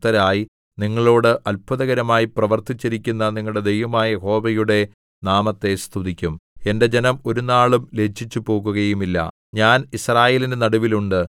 നിങ്ങൾ വേണ്ടുവോളം ഭക്ഷിച്ച് തൃപ്തരായി നിങ്ങളോട് അത്ഭുതകരമായി പ്രവർത്തിച്ചിരിക്കുന്ന നിങ്ങളുടെ ദൈവമായ യഹോവയുടെ നാമത്തെ സ്തുതിക്കും എന്റെ ജനം ഒരുനാളും ലജ്ജിച്ചുപോകുകയുമില്ല